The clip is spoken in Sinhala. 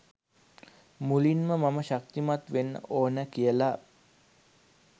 මුලින්ම මම ශක්තිමත් වෙන්න ඕන කියල